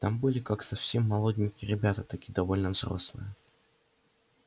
там были как совсем молоденькие ребята так и довольно взрослые